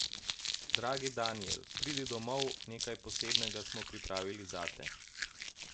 Dragi Danijel, pridi domov, nekaj posebnega smo pripravili zate ...